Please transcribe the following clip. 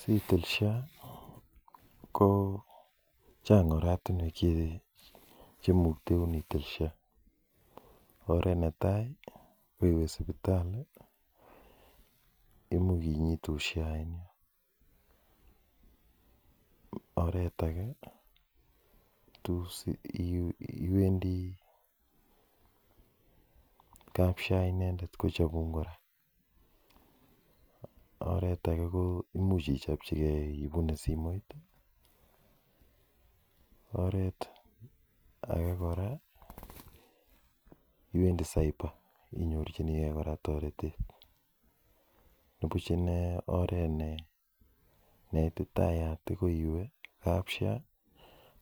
Sitil sha ko chang oratinwek chemukteun itil sha oret netai ko iwe sipitali imuch kinyitun sha eng yo oret age ko iwendi kap Sha inendet kechopun kora oret age ko much ichepchike ipune simoit oret age kora ko iwendi cyber inyorchinigei kora toretet nipuch ine oret ne itetitayat ko iwe kap Sha